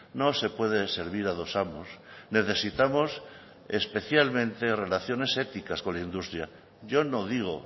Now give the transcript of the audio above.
no se puede servir a dos amos necesitamos especialmente relaciones éticas con la industria yo no digo